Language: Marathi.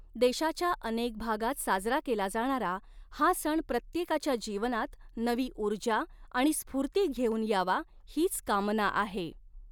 देशाच्या अऩेक भागात साजरा केला जाणारा हा सण प्रत्येकाच्या जीवनात नवी ऊर्जा आणि स्फूर्ती घेऊन यावा, हीच कामना आहे